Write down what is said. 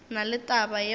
na le taba yeo e